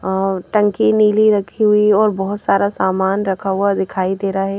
अ टंकी नीली रखी हुई और बहुत सारा सामान रखा हुआ दिखाई दे रहा है।